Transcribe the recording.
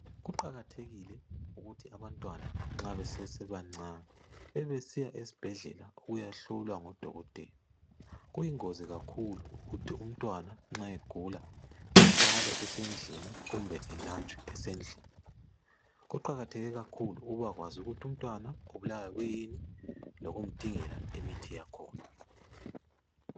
Kuqakathekile ukuthi abantwana nxa besesebancane bebesiya esibhedlela ukuyahlolwa ngudokotela. Kuyingozi kakhulu ukuthi umntwana nxa egula, ehlale esendlini kumbe elatshwe esendlini. Kuqakatheke kakhulu ukubakwazi ukuthi umntwana ubulawa kuyini lokumdingela imithi yakhona.